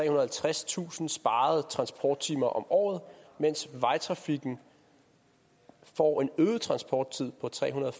og halvtredstusind sparede transporttimer om året mens vejtrafikken får en øget transporttid på trehundrede